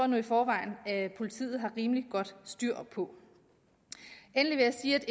nu i forvejen politiet har rimelig godt styr på endelig vil jeg sige at